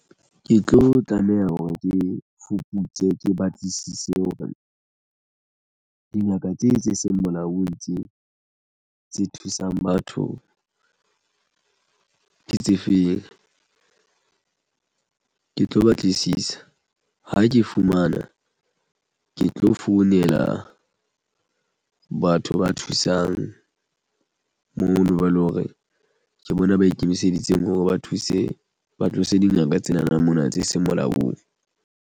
Ke tlo tlameha hore ke fuputse ke batlisise hore dingaka tse tse seng molaong tse thusang batho ke tse feng ke tlo batlisisa ha ke fumana ke tlo founela batho ba thusang mono ba eleng hore ke bona ba ikemiseditseng ho re ba thuse ba tlose dingaka tsena na mona tse seng molaong.